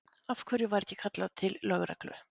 Af hverju var ekki kallað til lögreglu?